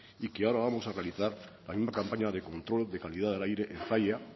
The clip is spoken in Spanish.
y que ahora vamos a realizar la misma campaña de control de calidad del aire en zalla